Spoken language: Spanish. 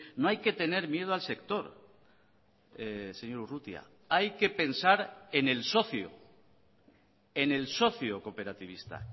no hay que tener miedo al sector señor urrutia hay que pensar en el socio en el socio cooperativista